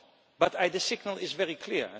But the signal is very clear.